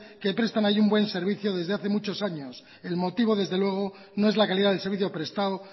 que prestan ahí un buen servicio desde hace muchos años el motivo desde luego no es la calidad del servicio prestado